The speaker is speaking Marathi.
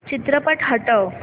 चित्रपट हटव